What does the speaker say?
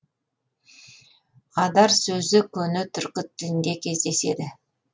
адар сөзі көне түркі тілінде кездеседі